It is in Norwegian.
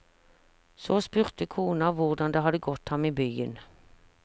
Så spurte konen hvordan det hadde gått ham i byen.